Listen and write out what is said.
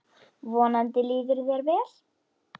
Vonandi líður þér vel.